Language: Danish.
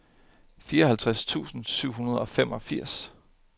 fireoghalvtreds tusind syv hundrede og femogfirs